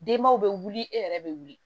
Denbaw bɛ wuli e yɛrɛ bɛ wuli